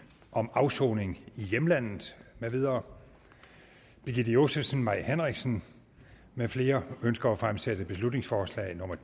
om afsoning i hjemlandet med videre birgitte josefsen mai henriksen med flere ønsker at fremsætte beslutningsforslag nummer